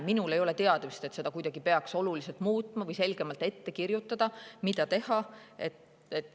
Minul ei ole teadmist, et seda peaks kuidagi oluliselt muutma või selgemalt ette kirjutama, mida teha.